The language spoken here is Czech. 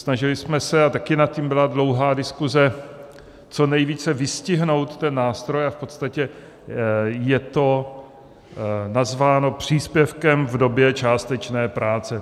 Snažili jsme se, a taky nad tím byla dlouhá diskuze, co nejvíce vystihnout ten nástroj a v podstatě je to nazváno příspěvkem v době částečné práce.